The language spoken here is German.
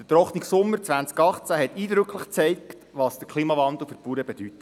Der trockene Sommer 2018 hat eindrücklich gezeigt, was der Klimawandel für die Bauern bedeutet.